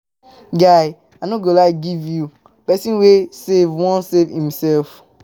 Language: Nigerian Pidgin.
Guy, I no go lie give you, pesin wey save wan save imself.